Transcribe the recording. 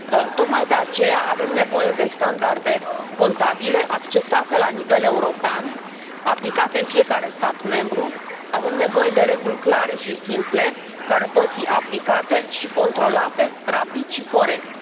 Tocmai de aceea avem nevoie de standarde contabile acceptate la nivel european, aplicate în fiecare stat membru. Avem nevoie de reguli clare și simple, care pot fi aplicate și controlate rapid și corect.